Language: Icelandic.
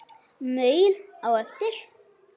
Maul á eftir.